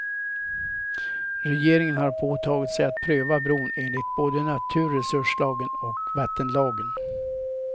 Regeringen har påtagit sig att pröva bron enligt både naturresurslagen och vattenlagen.